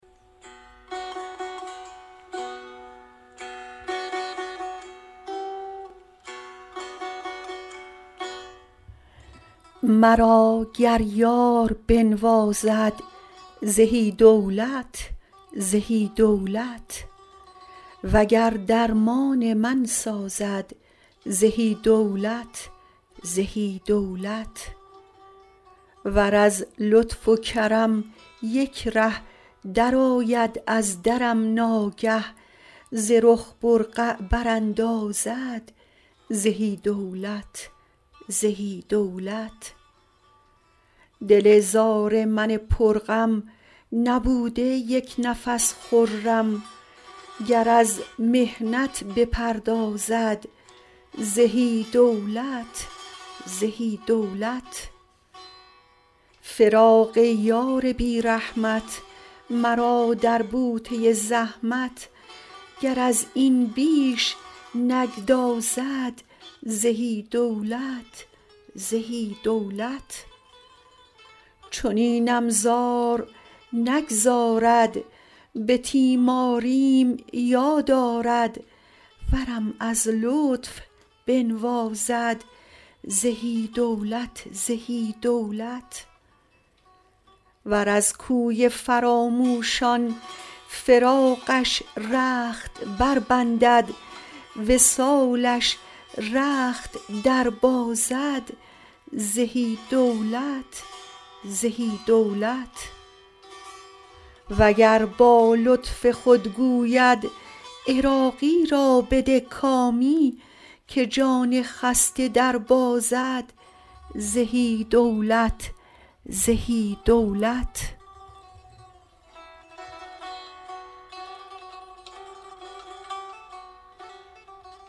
مرا گر یار بنوازد زهی دولت زهی دولت وگر درمان من سازد زهی دولت زهی دولت ور از لطف و کرم یک ره درآید از درم ناگه ز رخ برقع براندازد زهی دولت زهی دولت دل زار من پر غم نبوده یک نفس خرم گر از محنت بپردازد زهی دولت زهی دولت فراق یار بی رحمت مرا در بوته زحمت گر از این بیش نگدازد زهی دولت زهی دولت چنینم زار نگذارد به تیماریم یاد آرد ورم از لطف بنوازد زهی دولت زهی دولت ور از کوی فراموشان فراقش رخت بربندد وصالش رخت در بازد زهی دولت زهی دولت و گر با لطف خود گوید عراقی را بده کامی که جان خسته دربازد زهی دولت زهی دولت